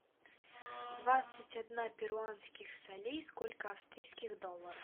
двадцать одна перуанских солей сколько австрийских долларов